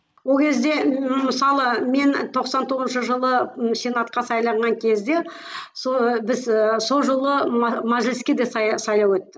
ол кезде мысалы мен тоқсан тоғызыншы жылы сенатқа сайланған кезде сол біз сол жылы мәжіліске де сайлау өтті